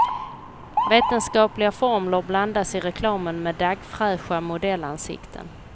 Vetenskapliga formler blandas i reklamen med daggfräscha modellansikten.